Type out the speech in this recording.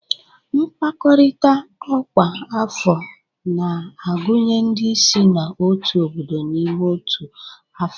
Mkpakọrịta ọkwa afọ na-agụnye ndị si n'otu obodo n'ime otu afọ